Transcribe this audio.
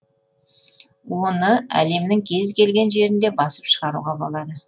оны әлемнің кез келген жерінде басып шығаруға болады